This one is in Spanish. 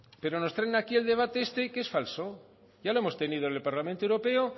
pero nos traen aquí el debate este que es falso ya lo hemos tenido en el parlamento europeo